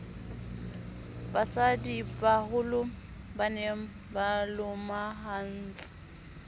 basadibaholo ba ne ba lomahantse